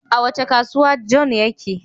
A wace kasuwa John yake?